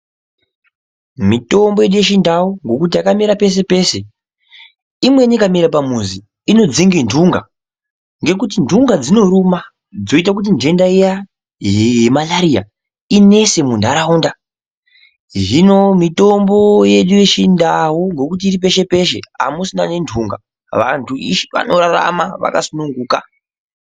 Mitombo yedu yechindau ngekuti yakamera peshe peshe. Imweni ikamera pamuzi inodzinga nhunga ngekuti nhunga dzinoruma zvoita kuti nhenda iyaa yemalaria inese munharaunda. Hino mitombo yedu yechindau ngekuti iri peshe peshe amusisina ngenhunga. Vantu veshe vanorarama vakasununguka.